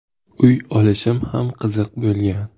Uy olishim ham qiziq bo‘lgan.